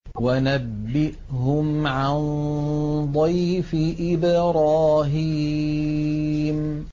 وَنَبِّئْهُمْ عَن ضَيْفِ إِبْرَاهِيمَ